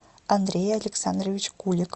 андрей александрович кулик